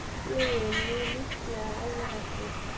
Logi mjög líklega alveg hættur